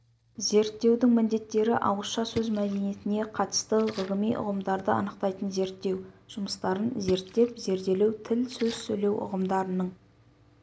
зерттеудің міндеттері ауызша сөз мәдениетіне қатысты ғылыми ұғымдарды анықтайтын зерттеу жұмыстарын зерттеп-зерделеу тіл сөз сөйлеу ұғымдарының